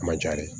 Ma ja de